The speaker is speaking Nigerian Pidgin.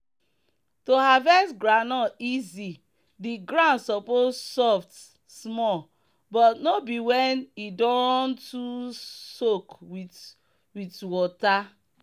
to harvest groundnut easy the ground suppose soft small but no be when e don too soak with with water.